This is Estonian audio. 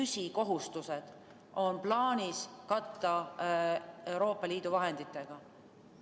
Need on riigi püsikohustused, mis on plaanis katta Euroopa Liidu vahenditega.